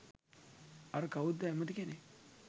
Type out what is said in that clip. අර කවුද ඇමති කෙනෙක්